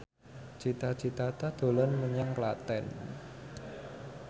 Cita Citata dolan menyang Klaten